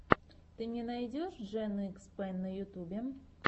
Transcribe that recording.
ты мне найдешь джен икс пен на ютьюбе